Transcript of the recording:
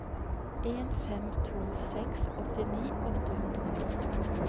en fem to seks åttini åtte hundre og ni